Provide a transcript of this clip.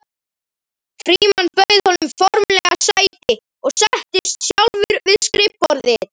Frímann bauð honum formlega sæti og settist sjálfur við skrifborðið.